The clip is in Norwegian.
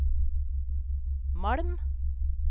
Malm